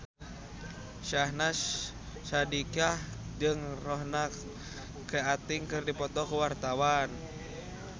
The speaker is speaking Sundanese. Syahnaz Sadiqah jeung Ronan Keating keur dipoto ku wartawan